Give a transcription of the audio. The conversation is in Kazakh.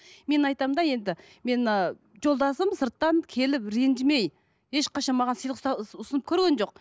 мен айтамын да енді мен мына жолдасым сырттан келіп ренжімей ешқашан маған сыйлық ұсынып көрген жоқ